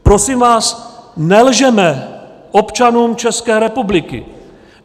Prosím vás, nelžeme občanům České republiky!